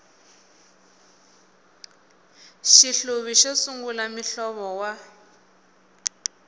xihluvi xo sungula muhlovo wa